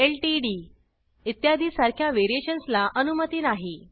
LTD इत्यादी सारख्या variations ला अनुमती नाही